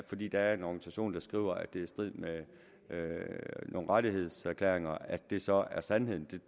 fordi der er en organisation der skriver at det er i strid med nogle rettighedserklæringer at det så er sandheden